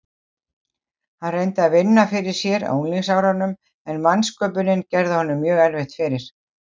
Hann reyndi að vinna fyrir sér á unglingsárunum en vansköpunin gerði honum mjög erfitt fyrir.